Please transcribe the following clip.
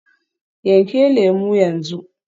Yanke lemu yanzu.